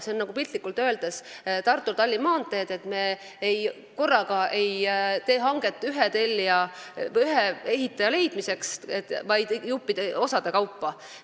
See on piltlikult öeldes nagu Tartu–Tallinna maantee, mille puhul me ei tee korraga hanget ühe ehitaja leidmiseks, vaid ehitame osade kaupa.